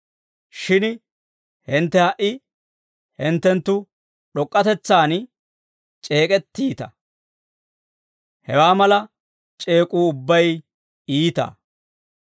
Shin hintte ha"i hinttenttu d'ok'k'atetsaan c'eek'ettiita; hewaa mala c'eek'uu ubbay iita.